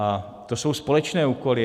A to jsou společné úkoly.